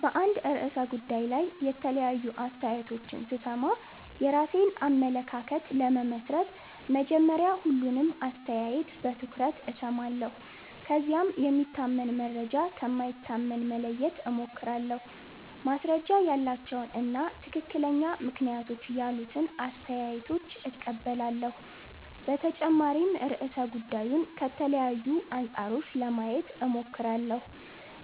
በአንድ ርዕሰ ጉዳይ ላይ የተለያዩ አስተያየቶችን ሲሰማ የራሴን አመለካከት ለመመስረት መጀመሪያ ሁሉንም አስተያየት በትኩረት እሰማለሁ። ከዚያም የሚታመን መረጃ ከማይታመን መለየት እሞክራለሁ፣ ማስረጃ ያላቸውን እና ትክክለኛ ምክንያቶች ያሉትን አስተያየቶች እቀበላለሁ። በተጨማሪም ርዕሰ ጉዳዩን ከተለያዩ አንጻሮች ለማየት እሞክራለሁ፣